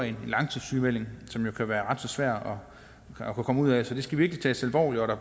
en langtidssygemelding som jo kan være ret så svær at komme ud af så det skal virkelig tages alvorligt at der